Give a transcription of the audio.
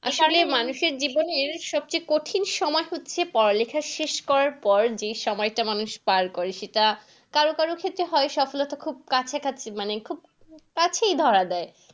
আসলে মানুষের জীবনের সবচেয়ে কঠিন সময় হচ্ছে পড়ালেখা শেষ করার পর যে সময় টা মানুষ পার করে সেটা কারো কারো ক্ষেত্রে হয় সফলতা খুব কাছাকাছি মানে খুব কাছেই ধরা দেয়।